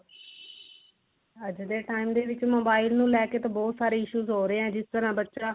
ਅੱਜ ਦੇ time ਦੇ ਵਿੱਚ mobile ਨੂੰ ਲੈਕੇ ਤਾਂ ਬਹੁਤ ਸਾਰੇ issues ਹੋ ਰਹੇ ਏਂ ਜਿਸ ਤਰਾਂ ਬੱਚਾ